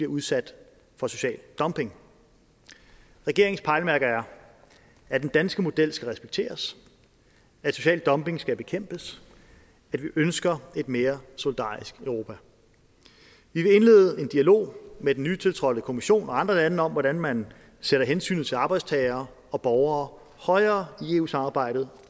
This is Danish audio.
udsat for social dumping regeringens pejlemærker er at den danske model skal respekteres at social dumping skal bekæmpes at vi ønsker et mere solidarisk europa vi vil indlede en dialog med den nytiltrådte kommission og andre lande om hvordan man sætter hensynet til arbejdstagere og borgere højere i eu samarbejdet